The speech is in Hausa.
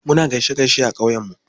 Muna gaishe gaishe a ƙauye mu.